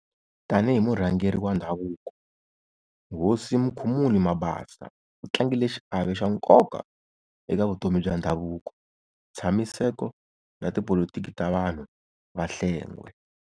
Tanihi murhangeri wa Ndhavuko, Hosi Mukhumuli Mabasa u tlangile xiave xa nkoka eka vutomi bya ndhavuko, ntshamiseko, na tipolitiki ta vanhu va Hlengwe.